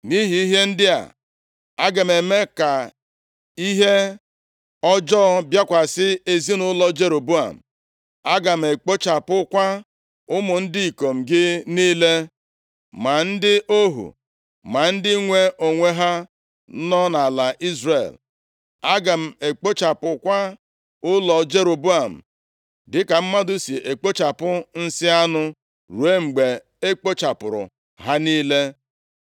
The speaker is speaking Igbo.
“ ‘Nʼihi ihe ndị a, aga m eme ka ihe ọjọọ bịakwasị ezinaụlọ Jeroboam. Aga m ekpochapụkwa ụmụ ndị ikom gị niile, ma ndị ohu, ma ndị nwe onwe ha nọ nʼala Izrel. Aga m ekpochapụkwa ụlọ Jeroboam dịka mmadụ si ekpochapụ nsị anụ, ruo mgbe e kpochapụrụ ha niile.